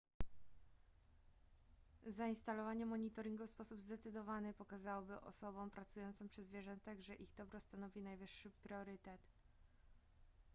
zainstalowanie monitoringu w sposób zdecydowany pokazałby osobom pracującym przy zwierzętach że ich dobro stanowi najwyższy priorytet